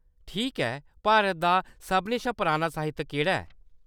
ठीक ऐ। भारत दा सभनें शा पराना साहित्य केह्‌‌ड़ा ऐ ?